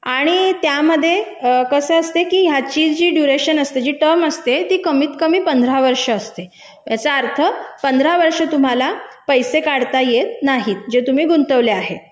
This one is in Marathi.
आणि त्यामध्ये कसं असतं की याची जी कालावधी असते ती कमीत कमी पंधरा वर्षे असते याचा अर्थ पंधरा वर्षे तुम्हाला पैसे काढता येत नाही जे तुम्ही गुंतवले आहे